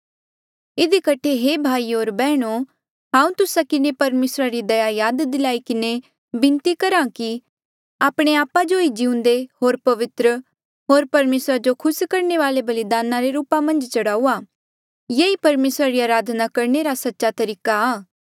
इधी कठे हे भाइयो होर बैहणो हांऊँ तुस्सा किन्हें परमेसरा री दया याद दिलाई किन्हें बिनती करहा कि आपणे आपा जो ही जिउंदे होर पवित्र होर परमेसरा जो खुस करणे वाले बलिदान रे रूपा मन्झ चढ़ाऊआ ये ई परमेसरा री अराधना करणे रा सच्चा तरीका आ